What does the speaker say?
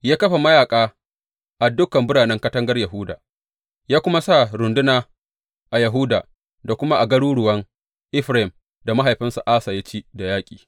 Ya kafa mayaƙa a dukan biranen katangar Yahuda, ya kuma sa runduna a Yahuda da kuma a garuruwan Efraim da mahaifinsa Asa ya ci da yaƙi.